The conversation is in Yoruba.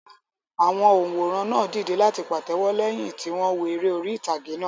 Àwọn òǹwòran náà dìde láti pàtẹ́wọ́ lẹ́yìn tí wọ́n wo eré orí ìtàgé náà.